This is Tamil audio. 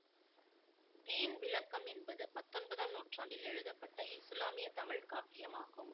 தீன் விளக்கம் என்பது பத்தொன்பதாம் நூற்றாண்டில் எழுதப்பட்ட இசுலாமிய தமிழ் காப்பியம் ஆகும்